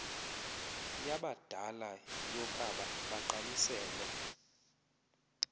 yabadala yokaba bagqalisele